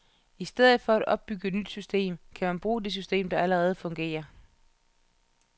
I stedet for at opbygge et nyt system, kan man bruge et system, der allerede fungerer.